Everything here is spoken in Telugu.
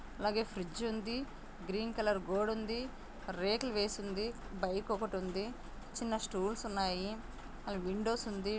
అలాగే ఫ్రిజ్ ఉంది. గ్రీన్ కలర్ గోడుంది. రేకులు వేసింది బైక్ ఒకటి ఉంది చిన్న స్టూల్స్ ఉన్నాయి అది విండోస్ ఉంది.